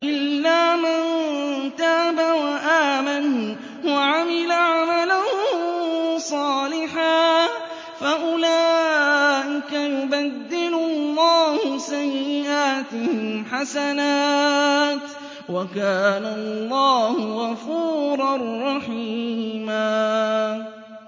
إِلَّا مَن تَابَ وَآمَنَ وَعَمِلَ عَمَلًا صَالِحًا فَأُولَٰئِكَ يُبَدِّلُ اللَّهُ سَيِّئَاتِهِمْ حَسَنَاتٍ ۗ وَكَانَ اللَّهُ غَفُورًا رَّحِيمًا